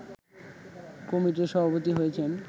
কমিটির সভাপতি হয়েছেন